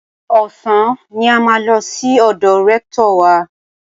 Ọ̀sán ni a máa lọ sí ọ̀dọ̀ rẹ́ktọ̀ wa.